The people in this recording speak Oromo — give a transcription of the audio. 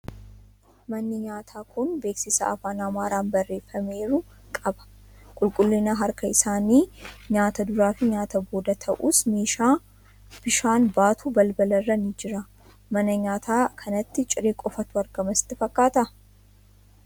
Manni nyaataa kun beeksisa afaan Amaaraan barreeffameeru qaba. Qulqullina harka isaanii nyaata duraa fi nyaata booda ta'us, meeshaa bishaan baatu balbala irra ni jira. Mana nyaataa kanaatti ciree qofaatu argama sitti fakkaataa?